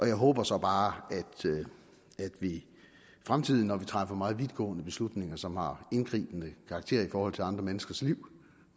jeg håber så bare at vi i fremtiden når vi træffer meget vidtgående beslutninger som har indgribende karakter i forhold til andre menneskers liv